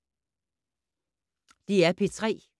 DR P3